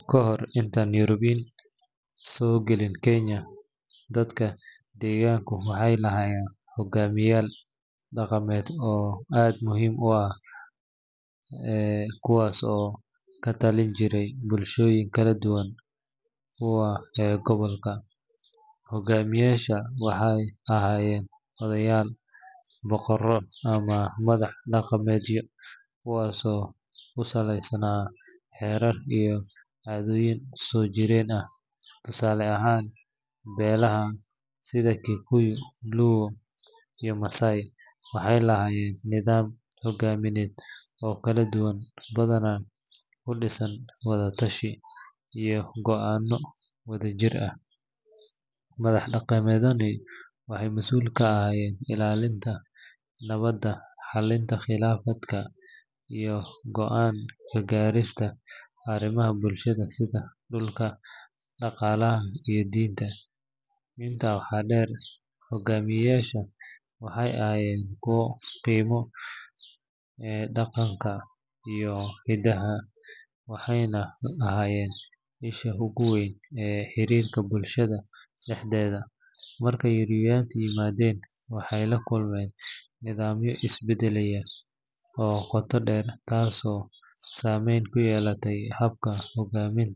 Kahor intaan Yurubiyiin soo gelin Kenya, dadka deegaanka waxay lahaayeen hoggaamiyeyaal dhaqameed oo aad muhiim u ahaa kuwaasoo ka tali jiray bulshooyinka kala duwan ee gobolka. Hoggaamiyeyaashan waxay ahaayeen odayaal, boqorro, ama madax dhaqameedyo, kuwaasoo ku salaysnaa xeerar iyo caadooyin soo jireen ah. Tusaale ahaan, beelaha sida Kikuyu, Luo, iyo Maasai waxay lahaayeen nidaamyo hoggaamineed oo kala duwan, badanaa ku dhisan wada-tashi iyo go’aanno wadajir ah. Madax dhaqameedkani waxay masuul ka ahaayeen ilaalinta nabadda, xallinta khilaafaadka, iyo go’aan ka gaarista arrimaha bulshada sida dhulka, dhaqaalaha, iyo diinta. Intaa waxaa dheer, hoggaamiyeyaashan waxay ahaayeen kuwo qiimeeya dhaqanka iyo hidaha, waxayna ahaayeen isha ugu weyn ee xiriirka bulshada dhexdeeda. Marka Yurubiyiin yimaadeen, waxay la kulmeen nidaamyo isbeddelaya oo qoto dheer, taasoo saameyn ku yeelatay habka hoggaaminta.